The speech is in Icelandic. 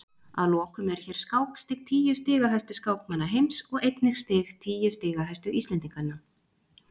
Að lokum eru hér skákstig tíu stigahæstu skákmanna heims og einnig stig tíu stigahæstu Íslendinganna.